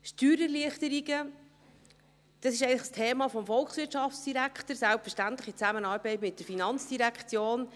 Steuererleichterungen sind eigentlich das Thema des Volkswirtschaftsdirektors, selbstverständlich in Zusammenarbeit mit der FIN.